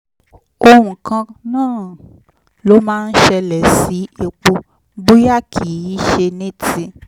ohun kan náà ló máa ń ṣẹlẹ̀ sí epo bóyá kìí ṣe ní ti